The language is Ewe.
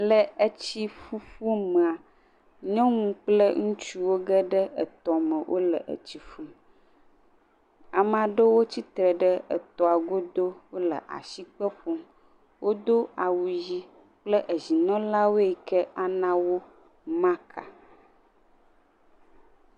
Le etsi ƒuƒu mea nyɔnu kple ŋutsu wo geɖe tɔ me, wole tsi ƒum. Ame aɖewo tsi tre ɖe etɔa go do. Wòle asikpe ƒom. Wodo awu ɣi kple ezimenɔlawo yike a nawo marka.